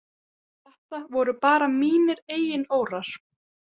Þetta voru bara mínir eigin órar.